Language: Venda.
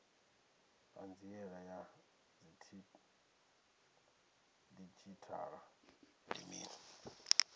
hanziela ya didzhithala ndi mini